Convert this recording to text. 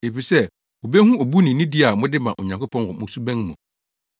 efisɛ wobehu obu ne nidi a mode ma Onyankopɔn wɔ mo suban mu.